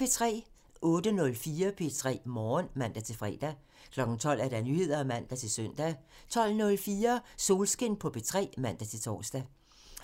08:04: P3 Morgen (man-fre) 12:00: Nyheder (man-søn) 12:04: Solskin på P3 (man-tor)